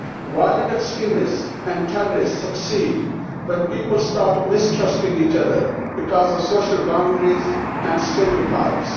Violent extremists and terrorists succeed when people start mistrusting each other because of social boundaries and stereotypes.